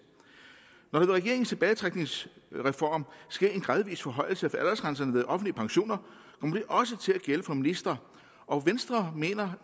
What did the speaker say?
når der ved regeringens tilbagetrækningsreform sker en gradvis forhøjelse af aldersgrænserne ved offentlige pensioner kommer det også til at gælde for ministre og venstre mener